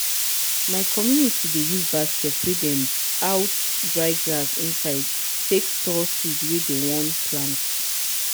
my community dey use basket wey dem out dry grass inside take store seed wey dem one plant.